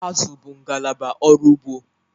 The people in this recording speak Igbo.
Azụ bụ ngalaba ọrụ ugbo